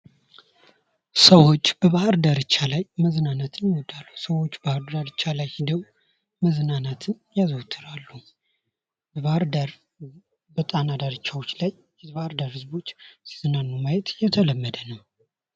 ሰዎች የባህር ዳርቻ ላይ መዝናናትን ይወዳሉ። የባህር ዳርቻ ላይ ህደው መዝናናትን ያዘወትራሉ። በጣና ዳርቻ ላይ የባህር ዳር ሰዎች ሲዝናኑ ማየት የተለመደ ነው።